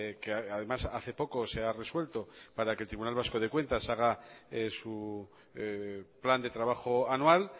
que además hace poco se ha resuelto para que el tribunal vasco de cuentas haga su plan de trabajo anual